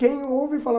Quem ouve, fala...